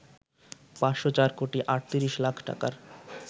৫০৪ কোটি ৩৮ লাখ টাকার